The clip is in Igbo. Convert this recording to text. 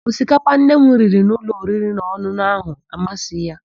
Osikapa Nne m riri n'ụlọ oririnaọn̄ụn̄ụ áhụ̀ amasịghị ya.